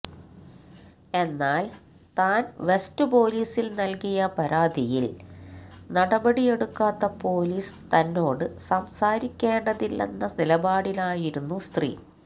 എന്നാല് താന് വെസ്റ്റ് പൊലീസില് നല്കിയ പരാതിയില് നടപടിയെടുക്കാത്ത പൊലീസ് തന്നോട് സംസാരിക്കേണ്ടതില്ലെന്ന നിലപാടിലായിരുന്നു സ്ത്രീ